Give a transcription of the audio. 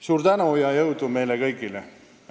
Suur tänu ja jõudu meile kõigile!